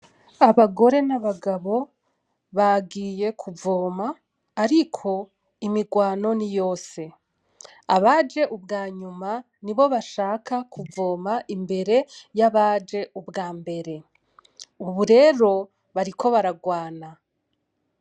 Abagore n'abagabo bagiye kuvoma ariko imirwano niyose, abaje ubwanyuma nibo bashaka kuvoma imbere yabaje ubwambere ubu rero bariko baragwana.